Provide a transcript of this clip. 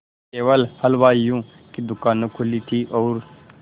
केवल हलवाइयों की दूकानें खुली थी और